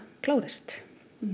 klárist